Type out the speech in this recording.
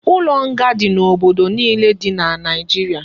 Ulo nga di na obodo niile di na naijiria